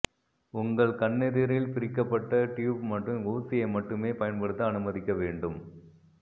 உங்கள் கண்ணெதிரில் பிரிக்கப்பட்ட டியூப் மற்றும் ஊசியை மட்டுமே பயன்படுத்த அனுமதிக்கவேண்டும்